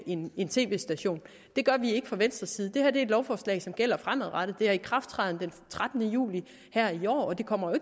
en en tv station det gør vi ikke fra venstres side det her er et lovforslag som gælder fremadrettet det har ikrafttræden den trettende juli her i år og det kommer